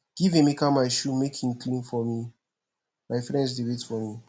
give emeka my shoe make he clean for me my friends dey wait for me